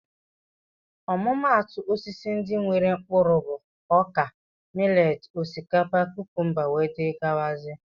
Ọmụmatu Osisi ndị nwéré mkpụrụ bụ ọkà, mileti, osikapa, kúkúmba wdz